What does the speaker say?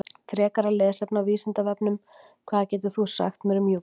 Frekara lesefni á Vísindavefnum: Hvað getur þú sagt mér um Júpíter?